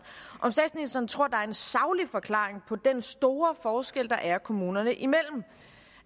om statsministeren tror at en saglig forklaring på den store forskel der er kommunerne imellem